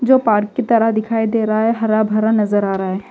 जो पार्क की तरह दिखाई दे रहा है हरा भरा नज़र आ रहा है।